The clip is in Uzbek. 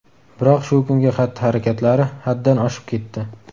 Biroq shu kungi xatti-harakatlari haddan oshib ketdi.